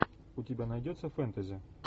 у тебя найдется фэнтези